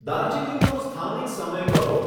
દાર્જીલિંગનો સ્થાનિક સમય કહો